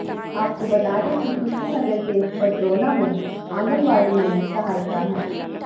आपको बता दें कि कुशीनगर के पडरौना में आंगनबाड़ी में सहायिका है